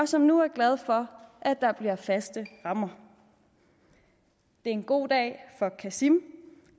som nu er glad for at der bliver faste rammer det er en god dag for qasim